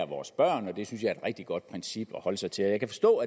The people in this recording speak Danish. vores børn og det synes jeg er et rigtig godt princip at holde sig til jeg kan forstå